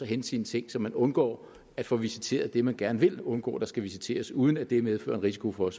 hente sine ting så man undgår at få visiteret det man gerne vil undgå skal visiteres uden at det selvfølgelig medfører en risiko for at